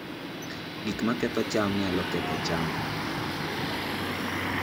Gik maketho cham nyalo ketho cham